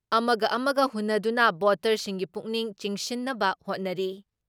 ꯑꯃꯒ ꯑꯃꯒ ꯍꯨꯟꯅꯗꯨꯅ ꯚꯣꯇꯔꯁꯤꯡꯒꯤ ꯄꯨꯛꯅꯤꯡ ꯆꯪꯁꯤꯟꯅꯕ ꯍꯣꯠꯅꯔꯤ ꯫